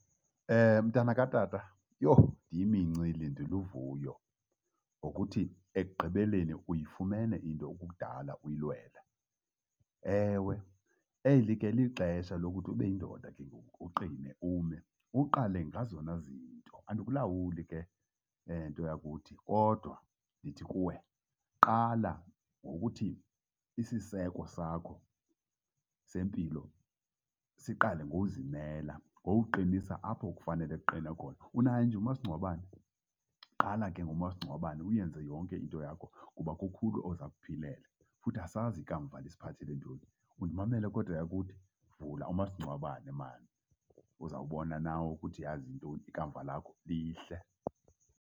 Mntana katata, yho! Ndiyimincili, ndiluvuyo ngokuthi ekugqibeleni uyifumene into ekudala uyilwela. Ewe, eli ke lixesha lokuthi ube yindoda ke ngoku, uqine, ume, uqale ngezona zinto. Andikulawuli ke, nto yakuthi, kodwa ndithi kuwe qala ngokuthi isiseko sakho sempilo siqale ngokuzimela, ngokuqinisa apho kufanele kuqine khona. Unayo nje umasingcwabane? Qala ke ngomasingcwabane uyenze yonke into yakho kuba kukhulu oza kukuphilela futhi asazi ikamva lisiphathele ntoni. Undimamele kodwa, yakuthi? Vula umasingcwabane mani, uzawubona nawe ukuthi yhazi yintoni, ikamva lakho lihle.